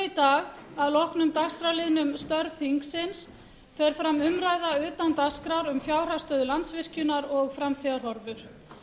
dag að loknum dagskrárliðnum störf þingsins fer fram umræða utan dagskrár um fjárhagsstöðu landsvirkjunar og framtíðarhorfur